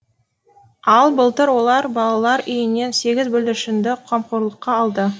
ал былтыр олар балалар үйінен сегіз бүлдіршінді қамқорлыққа алды